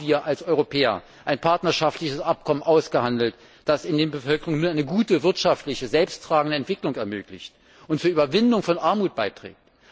Haben wir als Europäer ein partnerschaftliches Abkommen ausgehandelt, das in der Bevölkerung nur eine gute wirtschaftliche selbsttragende Entwicklung ermöglicht und zur Überwindung von Armut beiträgt?